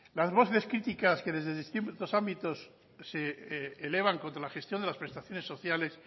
las voces críticas que desde distintos ámbitos se elevan contra la gestión de las prestaciones sociales